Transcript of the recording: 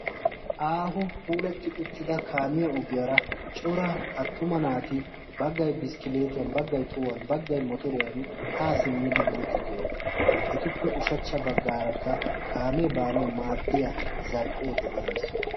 Aaho puulatti uttida kaamiya ogiyaara cora attuma naati baggay biskkileetiyan baggay tohuwan baggay motoriyan haa simmidi yiidtiddi oosona etuppe ushachcha baggaarakka kaamee baanawu maaddiya zarphphee de'ees